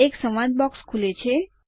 એક સંવાદ બોક્સ ખુલે છે